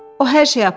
O hər şeyi aparır.